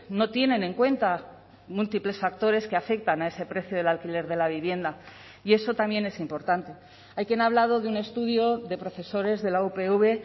no tienen en cuenta múltiples factores que afectan a ese precio del alquiler de la vivienda y eso también es importante hay quien ha hablado de un estudio de profesores de la upv